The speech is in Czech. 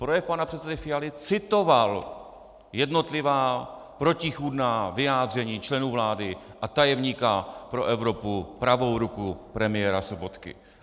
Projev pana předsedy Fialy citoval jednotlivá protichůdná vyjádření členů vlády a tajemníka pro Evropu, pravou ruku premiéra Sobotky.